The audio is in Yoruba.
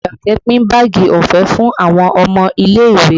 Àṣàkẹ́ pin báàgì ọ̀fẹ́ fún àwọn ọmọ ilé